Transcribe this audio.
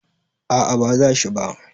a a ba za shi ba